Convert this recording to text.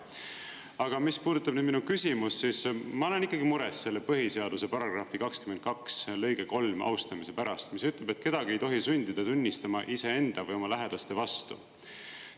Aga mis puudutab nüüd minu küsimust, siis ma olen mures selle põhiseaduse § 22 lõige 3 austamise pärast, mis ütleb, et kedagi ei tohi sundida tunnistama iseenda või oma lähedaste vastu.